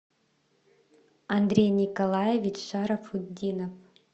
андрей николаевич шарафутдинов